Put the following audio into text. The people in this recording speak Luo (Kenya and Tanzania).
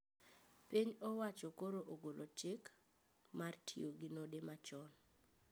Piny owacho koro ogolo chik ,mar tiyo gi node manyachon